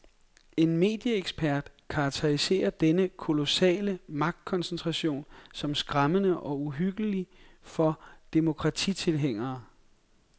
En medieekspert karakteriserer denne kolossale magtkoncentration som skræmmende og uhyggelig for demokratitilhængere.